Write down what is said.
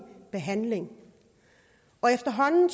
behandling efterhånden